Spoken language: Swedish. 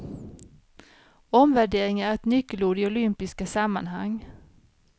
Omvärdering är ett nyckelord i olympiska sammanhang.